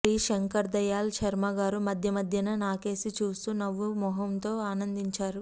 శ్రీ శంకర్దయాళ్ శర్మగారు మధ్యమధ్యన నాకేసి చూస్తూ నవ్వు మొగంతో ఆనందించారు